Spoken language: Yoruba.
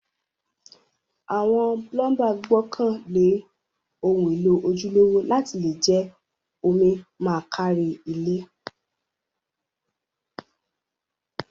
Àwon plumber gbókàn lé oun élò ojúlówó láti le je omi ma kárí gbogbo ilé